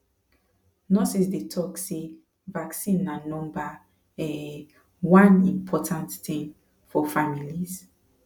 nurses dey dey talk say vaccine na number um one important thing for families